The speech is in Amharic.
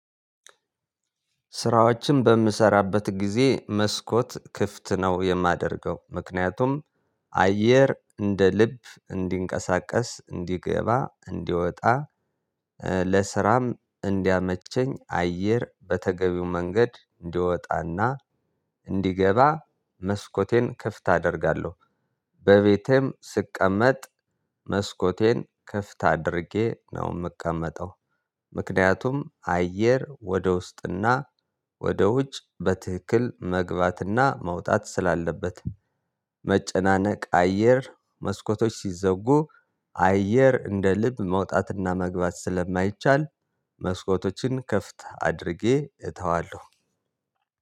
ስራዎችን በምሰራበት ጊዜ መስኮት ክፍት ነው የማደርገው ምክንያቱም አየር እንደ ልብ እንዲንቀሳቀስ እንዲገባ እንዲወጣ ለስራም እንዲያመቸኝ አየር በተገቢው መንገድ እንዲወጣና እንዲገባ መስኮቴን ክፍት አደርጋለሁ። በቤቴም ስቀመጥ መስኮቴን ክፍት አድርጌ ነው የምቀመጠው። ምክንያቱም አየር ወደ ውስጥና ወደ ውጭ በትክክል መግባትና መውጣት ስላለበት። መጨናነቅ አየር መስኮቶች ሲዘጉ አየር እንደ ልብ መውጣትና መግባት ስለማይቻል መስኮቶችን ከፍተህ አድርጌ እተዋለሁ።